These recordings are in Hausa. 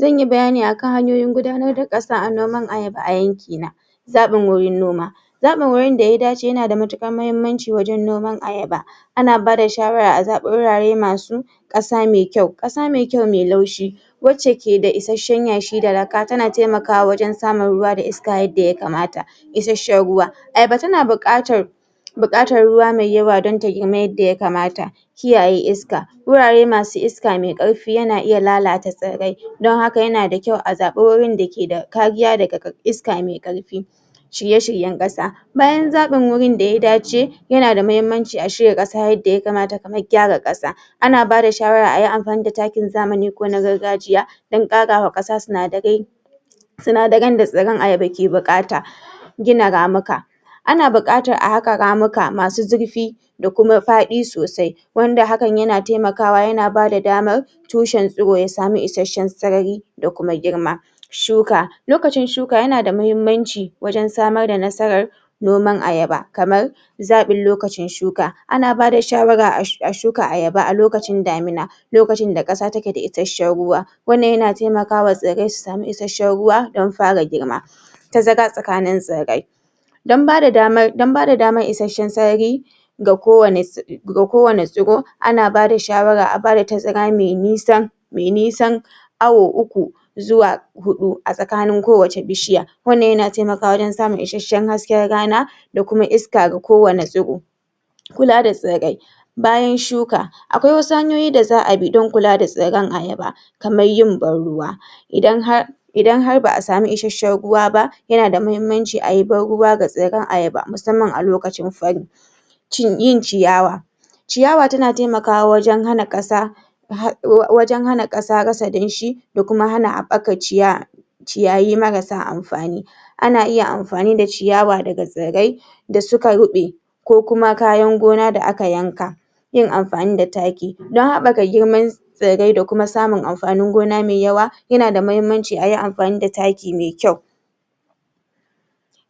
Zanyi bayani akan hanyoyin gudanar da ƙasa a noman ayaba a yanki na zaɓin wurin noma zaɓan wurin da ya dace yana da matuƙar mahimmanci wajen noman ayaba ana bada shawara a zaɓa wurare masu ƙasa me kyau, ƙasa me kyau me laushi wacce ke da isashen yashi da lakka tana taimakawa wajen samun ruwa da iska yadda yakamata isashen ruwa ayaba tana buƙatar buƙatar ruwa mai yawa dan ta girma yadda yakamata kiyaye iska wurare masu iska me ƙarfi yana iya lalata tsirrai dan haka yana da kyau a zaɓa wurin da ke da kariya daga iska me ƙarfi shirye-shiryen ƙasa bayan zaɓin wurin da ya dace yana da mahimmanci a shirya ƙasa yadda yakamata da gyara ƙasa ana bada shawara ayi amfani da takin zamani ko na gargajiya dan ƙarawa ƙasa sinadarai sinadaran da tsirran ayaba ke buƙata gina ramuka ana buƙatar a haƙa ramuka masu zurfi da kuma faɗi sosai wanda hakan yana taimakawa yana bada damar tushen tsiro ya samu isashen sarari da kuma girma shuka lokacin shuka yana da mahimmanci wajen samar da nasarar noman ayaba kamar zaɓin lokacin shuka, ana bada shawara a shuka ayaba a lokacin damina lokacin da ƙasa take da isashen ruwa wannan yana taimakawa wa tsirrai su samu isashen ruwa dan fara girma tazara tsakanin tsirrai dan bada damar isashen sarari ga kowani tsiro ana bada shawara a bada tazara me nisa me nisan awo uku zuwa huɗu a tsakanin kowacce bishiya wannan yana taimakawa wajen samun isashen hasken rana da kuma iska ga kowanne tsiro kula da tsirrai bayan shuka akwai wasu hanyoyin da za'a bi dan kula da tsirran ayaba kamar yin ban ruwa idan har idan har ba'a samu isashen ruwa ba yana da mahimmanci a yi ban ruwa ga tsirran ayaba musamman a lokacin fari yin ciyawa ciyawa tana taimakawa wajen hana ƙasa wajen hana ƙasa rasa damshi da kuma hana haɓɓakar ciyawa ciyayi marasa amfani ana iya amfani da ciyawa daga tsirrai da suka ruɓe ko kuma kayan gona da aka yanka yin amfani da taki dan habɓaka girman tsirrai da kuma samun amfanin gona mai yawa yana da mahimmanci ayi amfani da taki mai kyau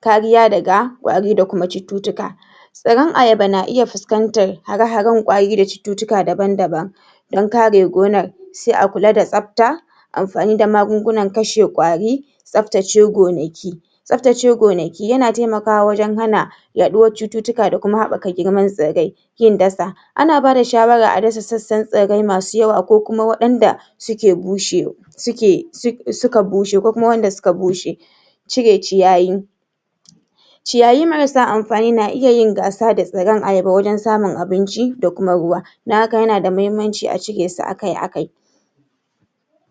kariya daga ƙwari da cututtuka tsirran ayaba na iya fuskanta hara-haren ƙwari da cututtuka daban-daban dan kare gonar sai a kula da tsabta amfani da magungunan kashe ƙwari tsabtace gonaki tsabtace gonaki yana taimakawa wajen hana yaɗuwar cututtuka da kuma haɓɓaka girman tsirrai kin dasa ana bada shawaran a dasa sassan tsirrai masu yawa ko kuma waɗanda suke bushe suke, suka bushe, ko kuma wanda suka bushe cire ciyayi ciyayi marasa amfani na iya yin gasa da tsirran ayaba wajen samun abinci da kuma ruwa dan haka yana da mahimmanci a cire su akai-akai.